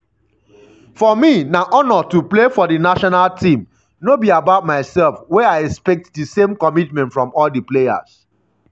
“for me na honour to play for di national team no be about myself wey i expect di same commitment from all di players.”